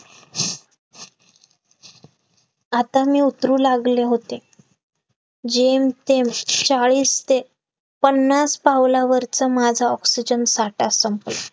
आता मी उतरू लागले होते जेम तेम चाळीस ते पन्नास पावलावरचा माझा oxygen साठा संपला